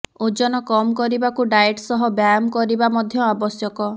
ଓଜନ କମ୍ କରିବାକୁ ଡାଏଟ୍ ସହ ବ୍ୟାୟାମ କରିବା ମଧ୍ୟ ଆବଶ୍ୟକ